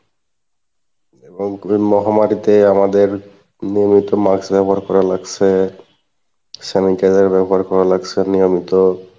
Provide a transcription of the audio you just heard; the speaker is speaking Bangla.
এবং এই মহামারীতে আমাদের নিয়মিত mask ব্যাবহার করা লাগসে, sanitizer ব্যাবহার করা লাগসে নিয়মিত,